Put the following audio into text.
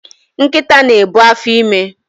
Nkita na-ebu afọime